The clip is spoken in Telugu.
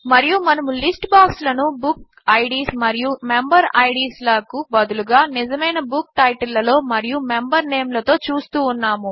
మరియు మనము లిస్ట్ బాక్స్ లను బుకిడ్స్ మరియు మెంబెరిడ్స్ లకు బదులుగా నిజమైన బుక్ టైటిల్ లలో మరియు మెంబర్ నేమ్ లతో చూస్తూ ఉన్నాము